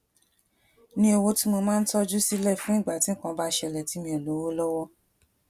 ní owó tí mo máa ń tójú sílè fún ìgbà tí nǹkan bá ṣẹlè tí mi ò lówó lówó